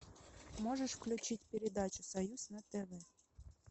можешь включить передачу союз на тв